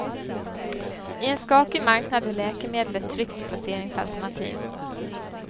I en skakig marknad är läkemedel ett tryggt placeringsalternativ.